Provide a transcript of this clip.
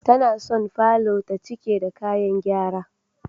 Tana son falor ta cike da kayan gyara.